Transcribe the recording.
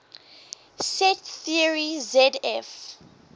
set theory zf